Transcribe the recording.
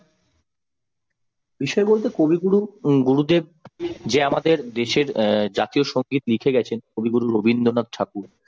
বিষয় বলতে কবিগুরু গুরুদেব যে আমাদের দেশের অ্যাঁ জাতীয় সংগীত লিখে গেছেন কবি গুরু রবীন্দ্রনাথ ঠাকুর।